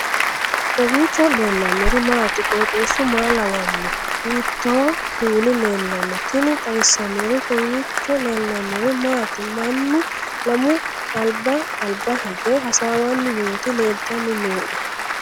kowiicho leellannori maati ? qooxeessu maa lawaanno ? hiitoo kuuli leellanno ? tini xawissannori kowiicho leellannori maati mannu lamu alba alba hige hasawanni nooti leelltanni noe